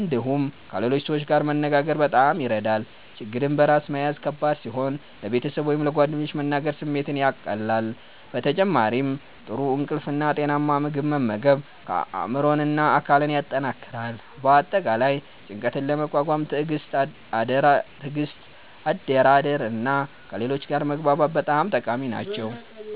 እንዲሁም ከሌሎች ሰዎች ጋር መነጋገር በጣም ይረዳል። ችግርን በራስ መያዝ ከባድ ሲሆን ለቤተሰብ ወይም ለጓደኞች መናገር ስሜትን ያቀላል። በተጨማሪም ጥሩ እንቅልፍ እና ጤናማ ምግብ መመገብ አእምሮን እና አካልን ያጠናክራል። በአጠቃላይ ጭንቀትን ለመቋቋም ትዕግስት፣ አደራደር እና ከሌሎች ጋር መግባባት በጣም ጠቃሚ ናቸው።